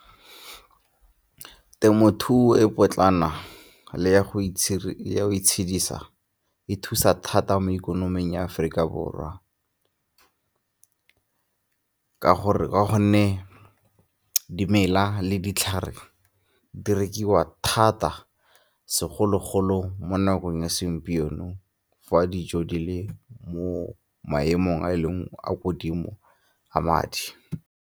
Temothuo e potlana le ya go itshedisa e thusa thata mo ikonoming ya Aforika Borwa ke gore ka go nne dimela le ditlhare di rekiwa thata, segolo-golo mo nakong ya segompieno fa dijo di le mo maemong a e leng a ko godimo a madi.